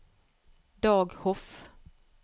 Dag Hoff